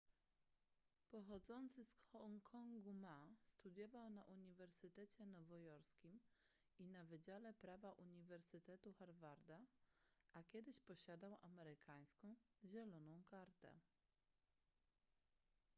pochodzący z hongkongu ma studiował na uniwersytecie nowojorskim i na wydziale prawa uniwersytetu harvarda a kiedyś posiadał amerykańską zieloną kartę